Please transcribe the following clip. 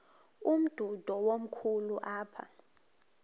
umdudo komkhulu apha